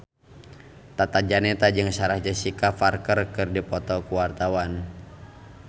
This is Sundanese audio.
Tata Janeta jeung Sarah Jessica Parker keur dipoto ku wartawan